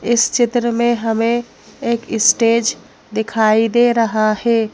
इस चित्र में हमें एक स्टेज दिखाई दे रहा है।